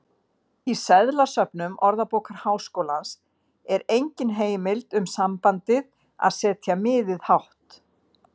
Í seðlasöfnum Orðabókar Háskólans er engin heimild um sambandið að setja miðið hátt.